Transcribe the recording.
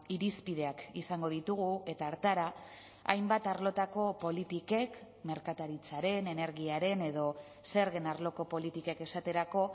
irizpideak izango ditugu eta hartara hainbat arlotako politikek merkataritzaren energiaren edo zergen arloko politikek esaterako